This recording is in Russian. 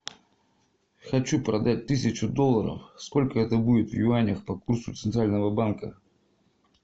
хочу продать тысячу долларов сколько это будет в юанях по курсу центрального банка